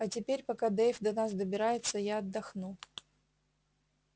а теперь пока дейв до нас добирается я отдохну